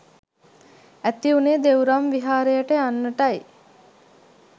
ඇතිවුනේ දෙව්රම් විහාරයට යන්නටයි.